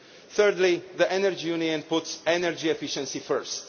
Thirdly, the Energy Union puts energy efficiency first.